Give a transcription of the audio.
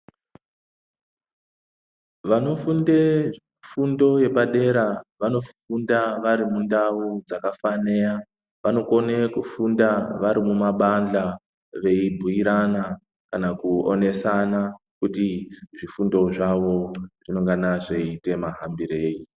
Vanofunde fundo yepadera vanofunda vari mundau dzakafaneya. Vanokone kufunda vari mumabandhla veibhuirana, kana veionesana, kuti zvifundo zvavo zvinengana zveiite hambirei.